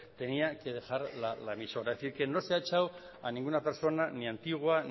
tenía que dejar la emisora es decir que no se ha echado a ninguna persona ni antigua